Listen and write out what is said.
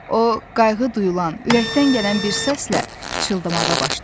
o qayğı duyulan ürəkdən gələn bir səslə pıçıldamağa başladı.